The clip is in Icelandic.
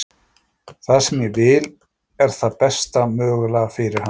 Það sem ég vil er það besta mögulega fyrir hann.